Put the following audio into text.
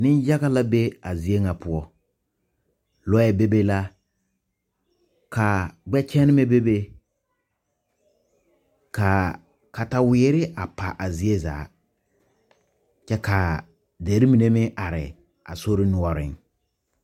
Neyaga la be a zie ŋa poɔ loɛ bebe la ka gbɛkyenebɛ bebe ka kataweere a pa a zie zaa kyɛ ka dere mine meŋ are a sori noɔreŋ.